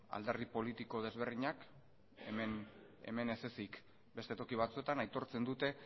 alderdi politiko ezberdinek hemen ez ezik beste toki batzuetan ere aitortzen dute